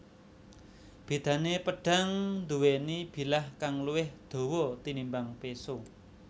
Bédané pedhang nduwèni bilah kang luwih dawa tinimbang péso